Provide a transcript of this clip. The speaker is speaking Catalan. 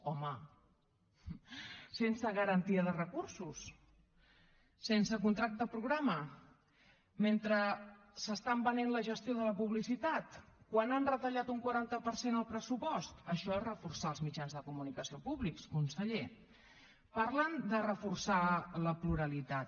home sense garantia de recursos sense contracte programa mentre s’estan venent la gestió de la publicitat quan han retallat un quaranta per cent el pressupost això és reforçar els mitjans de comunicació públics conseller parlen de reforçar la pluralitat